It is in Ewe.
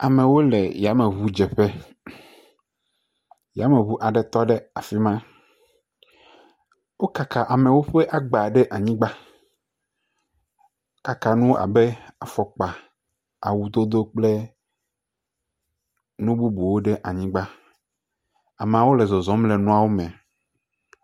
Amewo le yameŋudzeƒe, yameŋu aɖewo tɔ ɖe afi ma, wokaka amewo ƒe agba ɖe anyigba, wokaka nuwo abe afɔkpa, awudodo kple nububuwo ɖe anyigba, ameawo le zɔzɔm le nuawo me.